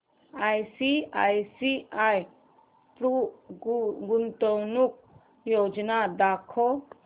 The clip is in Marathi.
आयसीआयसीआय प्रु गुंतवणूक योजना दाखव